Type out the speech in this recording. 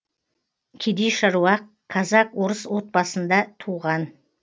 кедей шаруа казак орыс отбасысында туған